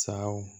Sawo